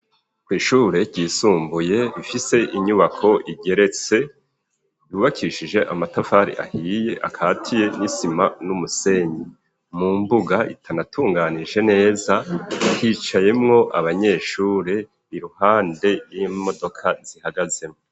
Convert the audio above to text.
ku ishure ryisumbuye rifise inyubako igeretse ryubakishije amatafari ahiye akatiye n'isima n'umusenyi mu mbuga itanatunganije neza hicayemwo abanyeshure iruhande y'imodoka zihagazemwo